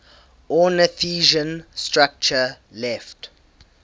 ornithischian structure left